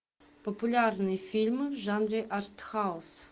популярные фильмы в жанре артхаус